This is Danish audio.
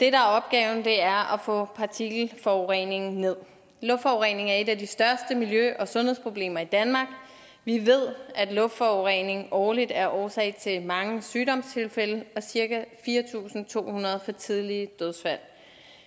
er opgaven er at få partikelforureningen nederst luftforurening er et af de største miljø og sundhedsproblemer i danmark vi ved at luftforureningen årligt er årsag til mange sygdomstilfælde og cirka fire tusind to hundrede for tidlige dødsfald